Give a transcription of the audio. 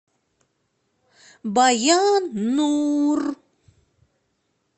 баян нур